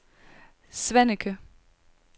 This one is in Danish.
Svaneke